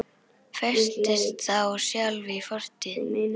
Festist þá sjálf í fortíð.